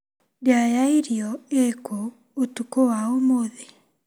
Ndĩa ya irio ĩkũ ũtukũ wa ũmũthĩ ?